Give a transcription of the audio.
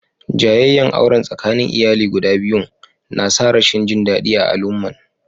Jayayyan auren tsakanin iyali guda biyun na sa rashin jin dadi a alumman.